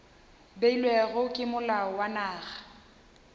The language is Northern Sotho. beilwego ke molao wa naga